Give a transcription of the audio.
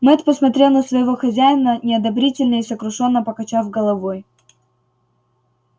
мэтт посмотрел на своего хозяина неодобрительно и сокрушённо покачав головой